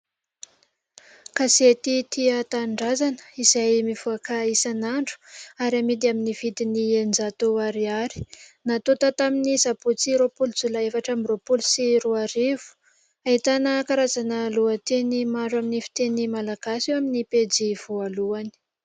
Gazety"Tia tanindrazana" izay mivoaka isanandro ary amidy amin'ny vidiny enin-jato ariary, natonta tamin'ny sabotsy roapolo jolay efatra ambi-roapolo sy roa arivo ; ahitana karazana lohateny maro amin'ny fiteny malagasy eo amin'ny pejy voalohany.